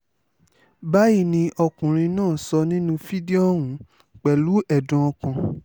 báyìí ni ọkùnrin náà sọ nínú fídíò ọ̀hún pẹ̀lú ẹ̀dùn ọkàn